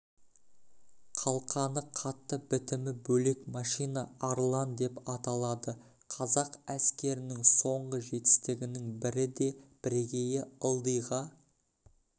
қалқаны қатты бітімі бөлек машина арлан деп аталады қазақ әскерінің соңғы жетістігінің бірі де бірегейі ылдиға